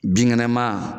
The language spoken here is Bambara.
Binkɛnɛma